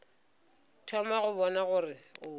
thoma go bona gore o